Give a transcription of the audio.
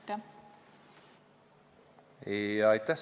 Aitäh!